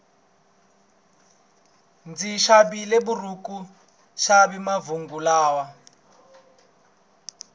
ndzi xavile buruku yaxi manguva lawa